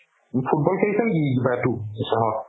football খেলিছে নেকি কিবা